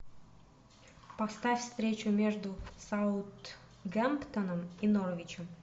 поставь встречу между саутгемптоном и норвичем